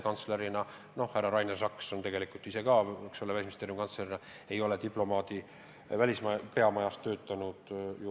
Härra Rainer Saks, Välisministeeriumi kantsler, ei ole meie peamajas varem töötanud.